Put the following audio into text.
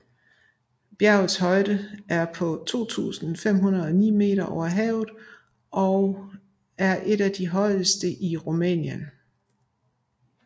Bjerget har en højde på 2509 meter over havet og er af de højeste i Rumænien